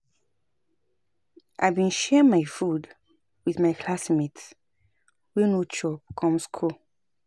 I bin share my food wit my classmate wey no chop come skool.